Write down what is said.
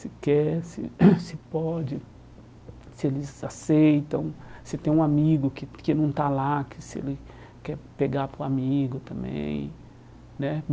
Se quer, se se pode, se eles aceitam, se tem um amigo que que não está lá, que se ele quer pegar para o amigo também né.